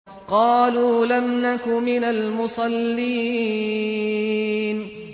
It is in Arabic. قَالُوا لَمْ نَكُ مِنَ الْمُصَلِّينَ